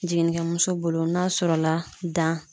Jiginnikɛmuso bolo n'a sɔrɔla dan